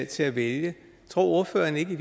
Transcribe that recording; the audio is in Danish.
til at vælge tror ordføreren ikke at